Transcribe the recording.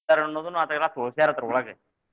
ಅನ್ನೋದನ್ನು ಅದರಾಗ ಎಲ್ಲಾ ತೋರಸ್ಯಾರ ಅದರ ಒಳಗ್ .